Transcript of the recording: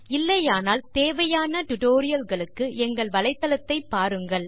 இல்லையானால் தேவையான டியூட்டோரியல் களுக்கு எங்கள் வலைத்தளத்தை பாருங்கள்